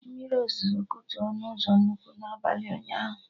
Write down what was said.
Mmiri ozuzo kutu ọnụ ụzọ nnukwu na abalị ụnyaahụ